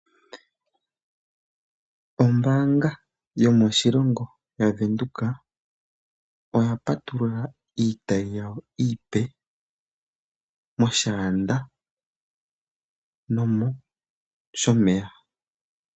Ombanga yomoshilongo yaVenduka oya patulula iitayi yawo iipe moShaanda noshowo moShomeya.